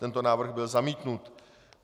Tento návrh byl zamítnut.